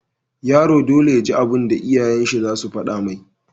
Yaro dole yaji abun da iyayen shi zasu fada mai